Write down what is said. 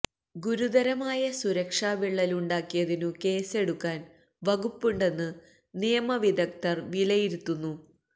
ഗുരുതരമായ സുരക്ഷാ വിള്ളലുണ്ടാക്കിയതിനു കേസ്സെടുക്കാൻ വകുപ്പുണ്ടെന്ന് നിയമ വിദഗ്ധർ വിലയിരുത്തുന്നു